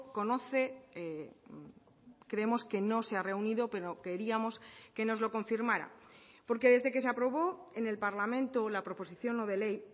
conoce creemos que no se ha reunido pero queríamos que nos lo confirmara porque desde que se aprobó en el parlamento la proposición no de ley